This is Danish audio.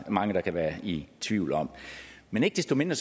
mange der kan være i tvivl om men ikke desto mindre